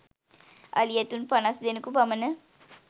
අලි ඇතුන් පනස් දෙනෙකු පමණ